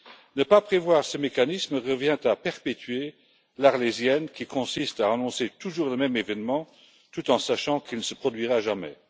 Ne pas prévoir ce mécanisme revient à perpétuer l'arlésienne, qui consiste à annoncer toujours le même événement, tout en sachant qu'il ne se produira jamais.